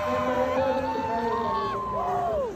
Nĩ akoretwo thibitarĩ kahinda Karaihu.